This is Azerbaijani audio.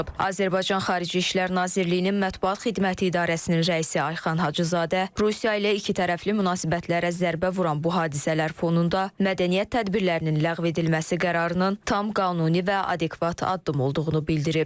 Azərbaycan Xarici İşlər Nazirliyinin mətbuat xidməti idarəsinin rəisi Ayxan Hacızadə Rusiya ilə ikitərəfli münasibətlərə zərbə vuran bu hadisələr fonunda mədəniyyət tədbirlərinin ləğv edilməsi qərarının tam qanuni və adekvat addım olduğunu bildirib.